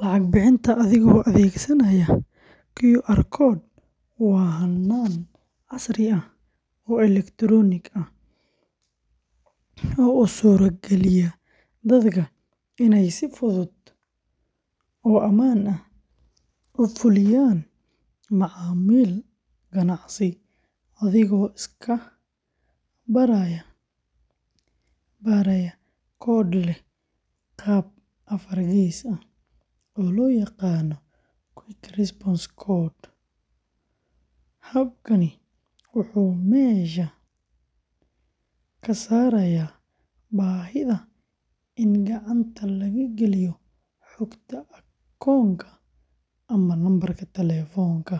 Lacag bixinta adigoo adeegsanaya QR code waa hannaan casri ah oo elektaroonig ah oo u suurageliya dadka inay si fudud oo ammaan ah u fuliyaan macaamil ganacsi adigoo iska baraya koodh leh qaab afar gees ah, oo loo yaqaan Quick Response Code. Habkani wuxuu meesha ka saarayaa baahida in gacanta laga geliyo xogta akoonka ama lambarka taleefanka,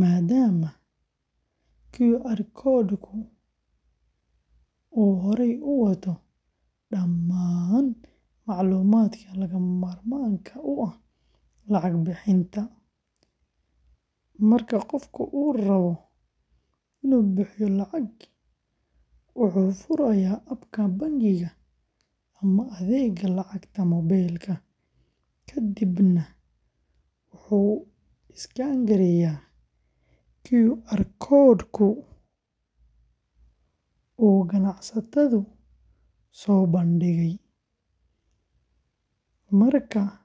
maadaama QR code-ku uu horey u wato dhammaan macluumaadka lagama maarmaanka u ah lacag bixinta. Marka qofku rabo inuu bixiyo lacag, wuxuu furayaa abka bangiga ama adeegga lacagta mobile-ka, kadibna wuxuu iskaan gareeyaa QR code-ka uu ganacsaduhu soo bandhigay. Marka la iskaan gareeyo.